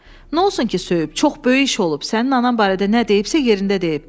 "Nə olsun ki, söyüb, çox böyük iş olub, sənin anan barədə nə deyibsə yerində deyib.